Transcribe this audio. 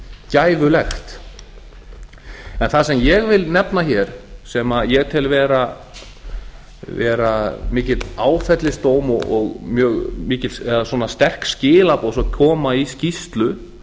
gæfulegt en það sem ég vil nefna hér sem ég tel vera mikinn áfellisdóm eða sterk skilaboð sem koma í skýrslu